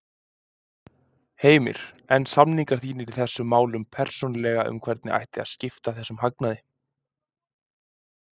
Heimir: En samningar þínir í þessum málum persónulega um hvernig ætti að skipta þessum hagnaði?